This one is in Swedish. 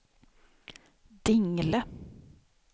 Dingle